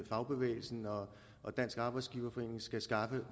fagbevægelsen og dansk arbejdsgiverforening skal skaffe